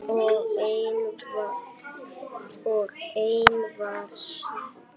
Og enn var svarað: